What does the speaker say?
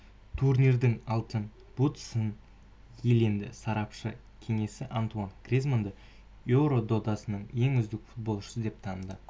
турнирдің алтын бутсысын иеленді сарапшылар кеңесі антуан гризманды еуро додасының ең үздік футболшысы деп таныды